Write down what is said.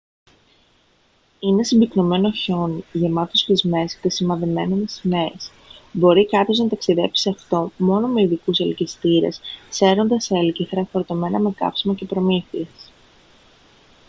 είναι συμπυκνωμένο χιόνι γεμάτο σχισμές και σημαδεμένο με σημαίες μπορεί κάποιος να ταξιδέψει σε αυτό μόνο με ειδικούς ελκυστήρες σέρνοντας έλκηθρα φορτωμένα με καύσιμα και προμήθειες